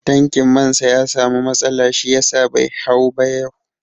Tankin man sa ya samu matsala shi yasa bai hau ba yau